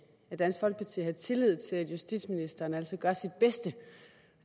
dansk folkeparti har tillid til at justitsministeren altid gør sit bedste